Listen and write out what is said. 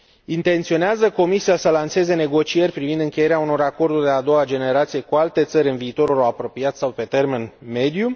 Intenționează Comisia să lanseze negocieri privind încheierea unor acorduri de a doua generație cu alte țări în viitorul apropiat sau pe termen mediu?